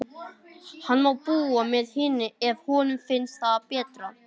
Hann má búa með hinni, ef honum finnst það betra.